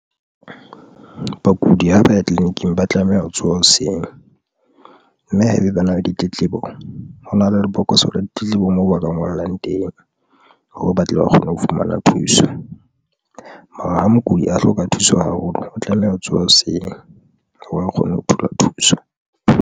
Bakudi ha ba ya tleliniking ba tlameha ho tsoha hoseng mme haebe bana ba ditletlebo ho na le lebokoso la ditletlebo moo ba ka ngolang teng. Hore ba tle ba kgone ho fumana thuso, mara ha mokudi a hloka thuso haholo, o tlameha ho tsoha hoseng ha ba kgone ho thola thuso.